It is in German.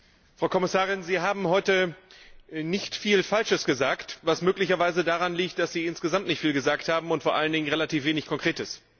Frau Kommissarin! Sie haben heute nicht viel Falsches gesagt, was möglicherweise daran liegt, dass Sie insgesamt nicht viel gesagt haben und vor allen Dingen relativ wenig Konkretes.